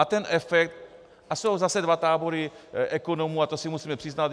A ten efekt - a jsou zase dva tábory ekonomů, a to si musíme přiznat.